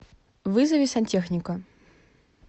вызови сантехника